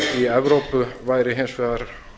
í evrópu væri hins vegar